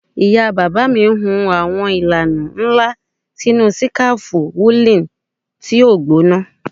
Ìyá bàbá mi hun àwọn ìlànà nla sinu sikafu woolen ti o gbona